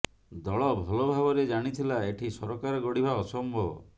ଦଳ ଭଲ ଭାବରେ ଜାଣିଥିଲା ଏଠି ସରକାର ଗଢିବା ଅସମ୍ଭବ